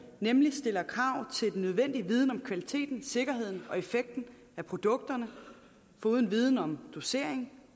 nemlig stiller krav til den nødvendige viden om kvaliteten sikkerheden og effekten af produkterne foruden viden om dosering